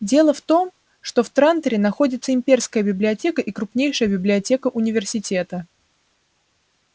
дело в том что в транторе находятся имперская библиотека и крупнейшая библиотека университета